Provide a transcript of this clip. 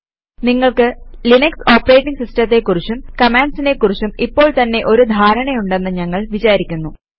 നിങ്ങൾക്ക് Linux operating സിസ്റ്റത്തെ കുറിച്ചും കമാൻഡ്സിനെ കുറിച്ചും ഇപ്പോള് തന്നെ ഒരു ധാരണയുണ്ടെന്ന് ഞങ്ങൾ വിചാരിക്കുന്നു